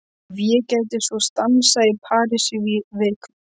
Ef ég gæti svo stansað í París í viku?